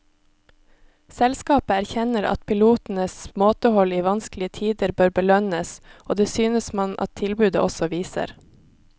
Selskapet erkjenner at pilotenes måtehold i vanskelige tider bør belønnes, og det synes man at tilbudet også viser.